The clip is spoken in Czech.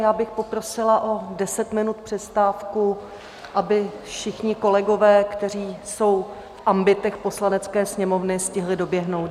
Já bych poprosila o 10 minut přestávku, aby všichni kolegové, kteří jsou v ambitech Poslanecké sněmovny, stihli doběhnout.